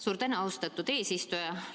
Suur tänu, austatud eesistuja!